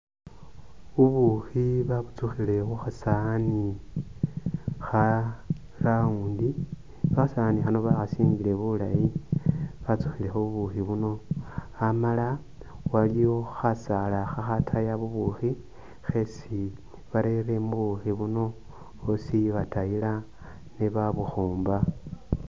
Bubukhi babutsukhile khukha sawaani kha round ,khasawaani khano bakhasingile bulayi batsukhilekho bubukhi buno ,amala waliwo khasaala khakhataya bubukhi khesi barere mubukhi buno usi batayila nebabukhomba